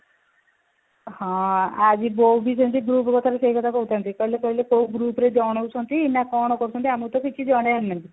ହଁ ଆଜି ବୋଉ ବି ସେମିତି group କଥାରୁ ସେଇ କଥା କହୁଥାନ୍ତି କହିଲେ କହିଲେ କୋଉ group ରେ ଜଣଉଛନ୍ତି ନା କଣ କରୁଛନ୍ତି ଆମକୁ ତ କିଛି ଜଣଉନାହାନ୍ତି